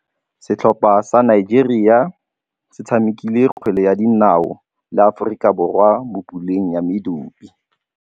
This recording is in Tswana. Setlhopha sa Nigeria se tshamekile kgwele ya dinaô le Aforika Borwa mo puleng ya medupe.